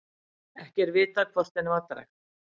Ekki er vitað hvort henni var drekkt.